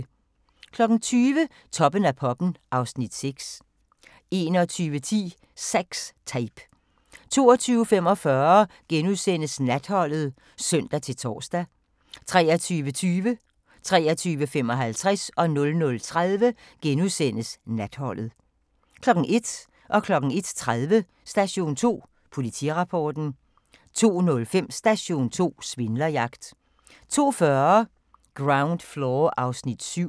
20:00: Toppen af poppen (Afs. 6) 21:10: Sex Tape 22:45: Natholdet *(søn-tor) 23:20: Natholdet * 23:55: Natholdet * 00:30: Natholdet * 01:00: Station 2: Politirapporten 01:30: Station 2: Politirapporten 02:05: Station 2: Svindlerjagt 02:40: Ground Floor (Afs. 7)